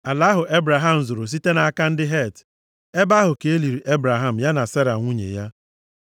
ala ahụ Ebraham zụrụ site nʼaka ndị Het. Ebe ahụ ka e liri Ebraham ya na Sera nwunye ya.